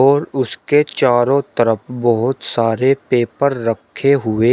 और उसके चारों तरफ बहोत सारे पेपर रखे हुए--